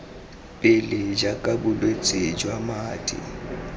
pele jaaka bolwetse jwa madi